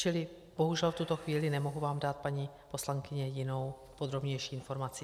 Čili bohužel v tuto chvíli nemohu vám dát, paní poslankyně, jinou, podrobnější informaci.